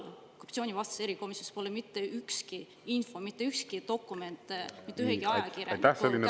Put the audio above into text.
Aga korruptsioonivastasest erikomisjonist pole mitte mingit infot ega mitte ühtegi dokumenti mitte ühegi ajakirjaniku kätte lekitatud.